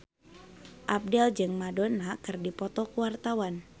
Abdel jeung Madonna keur dipoto ku wartawan